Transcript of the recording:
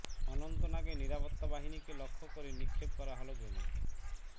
অনন্তনাগে নিরাপত্তা বাহিনীকে লক্ষ্য করে নিক্ষেপ করা হল গ্রেনেড